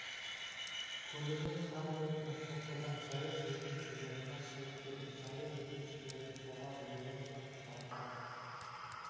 көлігін қағып өткен соққыдан жаяу жүргінші жолына шығып кетіп жаяу жүргіншілерді соғады одан соң тұрақта